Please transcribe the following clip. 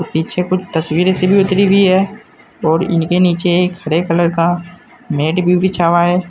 पीछे कुछ तस्वीरें सी भी उतारी हुई हैं और इनके नीचे एक हरे कलर का मैट भी बिछा हुआ है।